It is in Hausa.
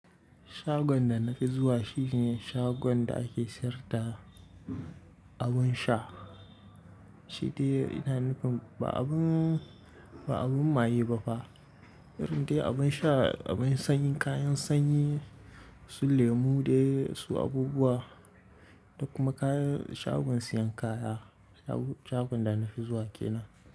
Shagon da na fi zuwa shine shagon da ake sayar da abun sha. Sai dai ina nufin ba abun, maye ba fa. Irin dai abun sha, abun sanyi, kayan sanyi su lemu dai su abubuwa da kuma kayan shagon siyan kaya. Shagon da na fi zuwa ke nan.